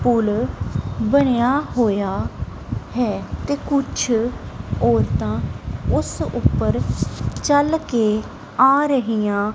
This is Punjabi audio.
ਪੁਲ ਬਣਿਆ ਹੋਇਆ ਹੈ ਤੇ ਕੁਛ ਔਰਤਾਂ ਉਸ ਉੱਪਰ ਚੱਲ ਕੇ ਆ ਰਹੀਆਂ।